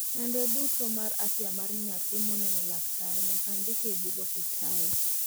nonro duto mar afya mar nyathi moneno laktar nyaka ndiki e bug hopital